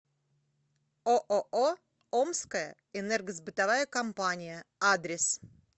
ооо омская энергосбытовая компания адрес